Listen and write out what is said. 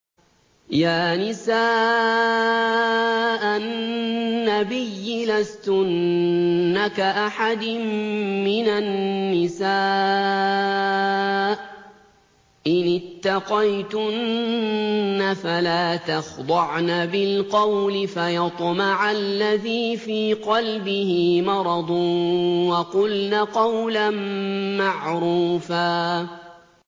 يَا نِسَاءَ النَّبِيِّ لَسْتُنَّ كَأَحَدٍ مِّنَ النِّسَاءِ ۚ إِنِ اتَّقَيْتُنَّ فَلَا تَخْضَعْنَ بِالْقَوْلِ فَيَطْمَعَ الَّذِي فِي قَلْبِهِ مَرَضٌ وَقُلْنَ قَوْلًا مَّعْرُوفًا